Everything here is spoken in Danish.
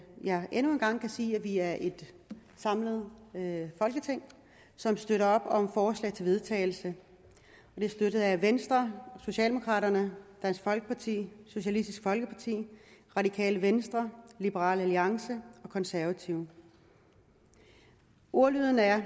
jeg endnu en gang kan sige at vi er et samlet folketing som støtter op om et forslag til vedtagelse det er støttet af venstre socialdemokraterne dansk folkeparti socialistisk folkeparti radikale venstre liberal alliance og konservative ordlyden er